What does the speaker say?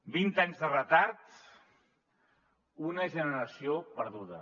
vint anys de retard una generació perduda